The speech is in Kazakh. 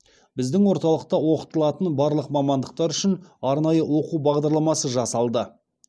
біздің орталықта оқытылатын барлық мамандықтар үшін арнайы оқу бағдарламасы жасалды